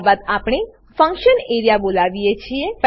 ત્યારબાદ આપણે function area બોલાવીએ છીએ